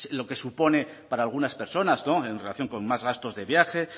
lo que supone para algunas personas en relación con más gastos de viaje